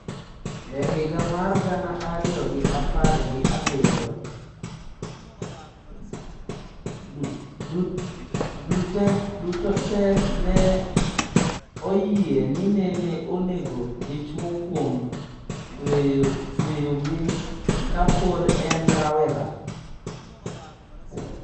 E higa mar gana ariyo gi apar gi abiriyo, Duterte ne oyie ni nene onego dichwo kuom tweyoge ka pod en rawera.